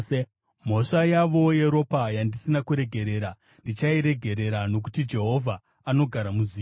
Mhosva yavo yeropa yandisina kuregerera, ndichairegerera, nokuti Jehovha anogara muZioni.”